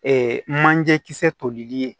manje kisɛ tolili ye